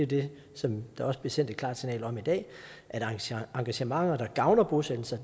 det som der også blev sendt et klart signal om i dag at engagementer der gavner bosættelser